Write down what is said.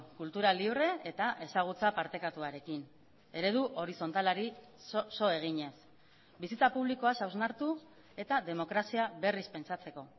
kultura libre eta ezagutza partekatuarekin eredu horizontalari so eginez bizitza publikoaz hausnartu eta demokrazia berriz pentsatzeko